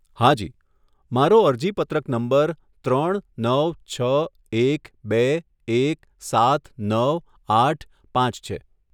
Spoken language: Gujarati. હા જી, મારો અરજીપત્રક નંબર ત્રણ નવ છ એક બે એક સાત નવ આઠ પાંચ છે.